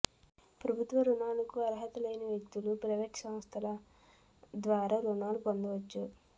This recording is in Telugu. ప్రభుత్వ రుణాలకు అర్హత లేని వ్యక్తులు ప్రైవేట్ సంస్థల ద్వారా రుణాలు పొందవచ్చు